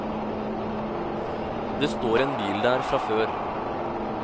Det står en bil der fra før.